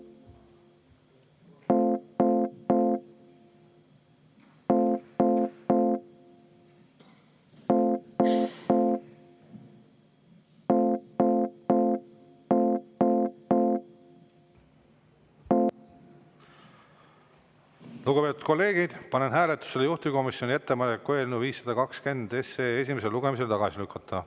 Lugupeetud kolleegid, panen hääletusele juhtivkomisjoni ettepaneku eelnõu 520 esimesel lugemisel tagasi lükata.